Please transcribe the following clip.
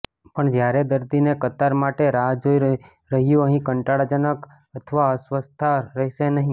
પણ જ્યારે દર્દીને કતાર માટે રાહ જોઈ રહ્યું અહીં કંટાળાજનક અથવા અસ્વસ્થતા રહેશે નહીં